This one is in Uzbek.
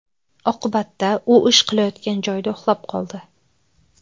Oqibatda u ish qilayotgan joyida uxlab qoldi.